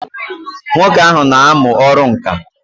Nwoke ahụ n'amụ ọrụ ǹkà